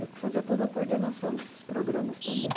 Eu que fazia toda a coordenação desses programas também.